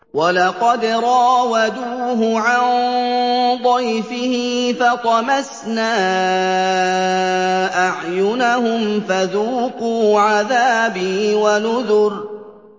وَلَقَدْ رَاوَدُوهُ عَن ضَيْفِهِ فَطَمَسْنَا أَعْيُنَهُمْ فَذُوقُوا عَذَابِي وَنُذُرِ